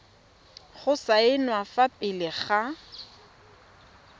go saenwa fa pele ga